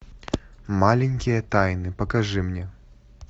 маленькие тайны покажи мне